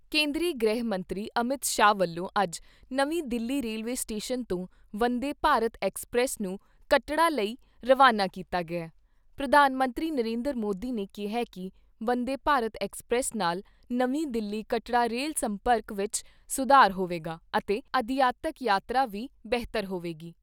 ਕੇਂਦਰੀ ਗ੍ਰਹਿ ਮੰਤਰੀ ਅਮਿਤ ਸ਼ਾਹ ਵੱਲੋਂ ਅੱਜ ਨਵੀਂ ਦਿੱਲੀ ਰੇਲਵੇ ਸਟੇਸ਼ਨ ਤੋਂ 'ਵੰਦੇ ਭਾਰਤ ਐਕਸਪ੍ਰੈਸ' ਨੂੰ ਕੱਟੜਾ ਲਈ ਰਵਾਨਾ ਕੀਤਾ ਗਿਆ । ਪ੍ਰਧਾਨ ਮੰਤਰੀ ਨਰਿੰਦਰ ਮੋਦੀ ਨੇ ਕਿਹਾ ਕਿ ਵੰਦੇ ਭਾਰਤ ਐਕਸਪ੍ਰੈਸ ਨਾਲ ਨਵੀਂ ਦਿੱਲੀ ਕਟੌੜਾ ਰੇਲ ਸੰਪਰਕ ਵਿਚ ਸੁਧਾਰ ਹੋਵੇਗਾ ਅਤੇ ਅਧਿਆਤਕ ਯਾਤਰਾ ਵੀ ਬਿਹਤਰ ਹੋਵੇਗੀ।